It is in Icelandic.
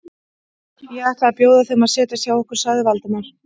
Ég ætla að bjóða þeim að setjast hjá okkur sagði Valdimar.